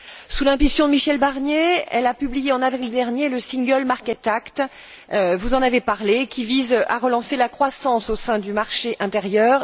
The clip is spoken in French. Sous l'impulsion de Michel Barnier, elle a publié en avril dernier le Single Market Act vous en avez parlé qui vise à relancer la croissance au sein du marché intérieur.